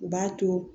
U b'a to